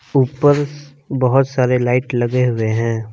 ऊपर बहुत सारे लाइट लगे हुए हैं।